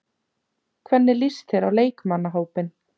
Hvernig lýst þér á leikmannahópinn?